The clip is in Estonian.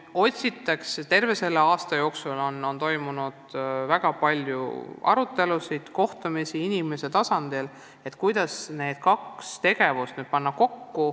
Terve selle aasta jooksul on toimunud väga palju kohtumisi ja arutelusid, kuidas need kaks tegevust kokku panna.